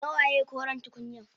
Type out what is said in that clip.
Nawaye koren tukunyan?